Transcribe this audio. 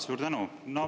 Suur tänu!